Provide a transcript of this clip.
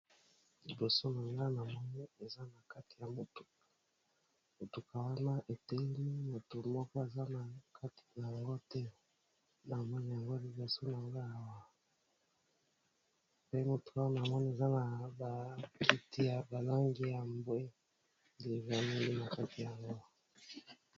Liboso na nga namoni eza na kati ya motuka , wana eteli mutu aza na Kati te.